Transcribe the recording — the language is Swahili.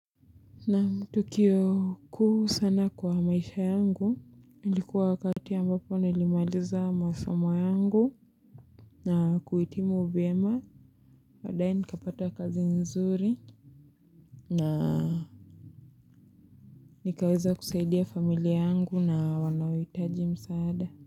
Naam tukio kuu sana kwa maisha yangu, ilikuwa wakati ambapo nilimaliza masomo yangu, na kuhitimu vyema, baadaye nikapata kazi nzuri, na nikaweza kusaidia familia yangu na wanaohitaji msaada.